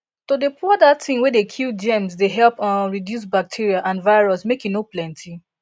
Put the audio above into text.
to dey pour that thing way dey kill germs dey help um reduce bacteria and virus make e no plenty